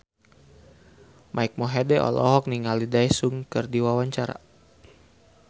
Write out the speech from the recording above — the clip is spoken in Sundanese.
Mike Mohede olohok ningali Daesung keur diwawancara